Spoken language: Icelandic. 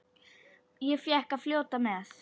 Ég fékk að fljóta með.